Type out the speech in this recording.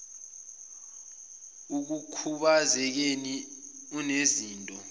ekukhubaze keni unezinto